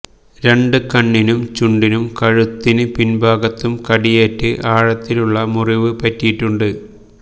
രണ്ട് കണ്ണിനും ചുണ്ടിനും കഴുത്തിന് പിൻഭാഗത്തും കടിയേറ്റ് ആഴത്തിലുള്ള മുറിവ് പറ്റിയിട്ടുണ്ട്